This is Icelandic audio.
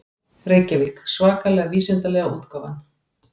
Reykjavík: Svakalega vísindalega útgáfan.